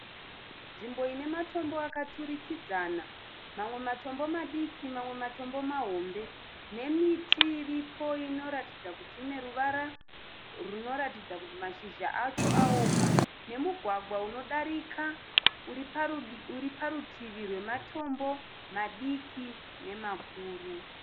Nzvimbo ine matombo akaturikidzana. Mamwe matombo madiki mamwe matombo mahombe nemiti iripo inoratidza kuti ine ruvara runoratidza kuti mashizha acho aoma nemugwagwa unodarika uri parutivi rwematombo madiki nemakuru.